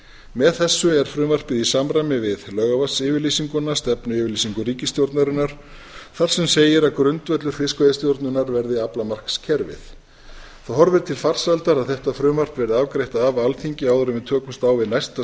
með þessu er frumvarpið í samræmi við laugarvatnsyfirlýsinguna stefnuyfirlýsingu ríkisstjórnarinnar þar sem segir að grundvöllur fiskveiðistjórnar verði aflamarkskerfið það horfir til farsældar að þetta frumvarp verði afgreitt af alþingi áður en við tökumst á við næsta